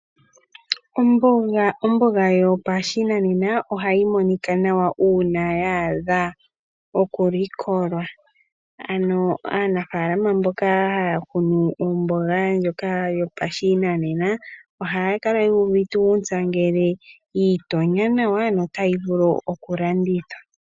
Omboga yopashinanena ohayi monika nawa uuna ya a dha oku likolwa, ano aanafaalama mboka haya kunu omboga ndjoka yopashinanena ohaya kala yuuvite uuntsa ngele yiitonya nawa notayi vulu oku landithwa.